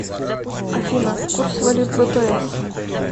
афина курс валют бпс